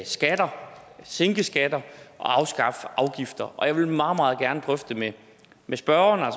skatter sænke skatter og afskaffe afgifter jeg vil meget meget gerne drøfte det med spørgeren og